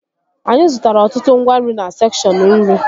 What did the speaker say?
Anyị zụtara ọtụtụ ngwa nri na sekshọn nri